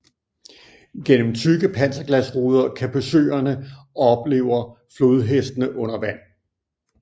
Gennem tykke panserglasruder kan besøgerne oplever flodhestene under vand